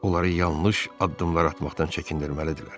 Onları yanlış addımlar atmaqdan çəkindirməlidirlər.